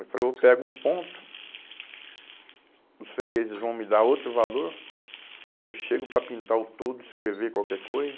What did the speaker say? Eu falei, eu pego um ponto, os fregueses vão me dar outro valor, que eu chego para pintar o toldo, escrever qualquer coisa.